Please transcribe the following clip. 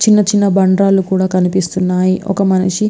చిన్న చిన్న బండరాళ్లు కూడా కనిపిస్తున్నాయి మనకు ఒక మనిషి --